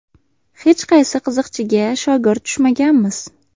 Hech qaysi qiziqchiga shogird tushmaganmiz.